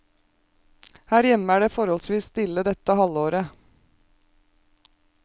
Her hjemme er det forholdsvis stille dette halvåret.